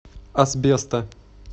асбеста